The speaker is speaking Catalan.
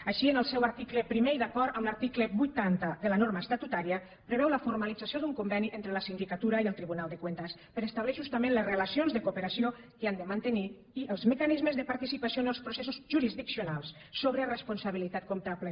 així en el seu article primer i d’acord amb l’article vuitanta de la norma estatutària preveu la formalització d’un conveni entre la sindicatura i el tribunal de cuentas per a establir justament les relacions de coo peració que han de mantenir i els mecanismes de participació en els processos jurisdiccionals sobre responsabilitat comptable